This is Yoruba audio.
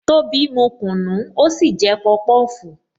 Tobi mu kunu, ó sì jẹ pọpọfu